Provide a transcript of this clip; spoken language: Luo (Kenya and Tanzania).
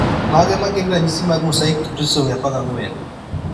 Mage magin ranyisi mag Mosaic trisomy 14